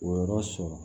O yɔrɔ sɔrɔ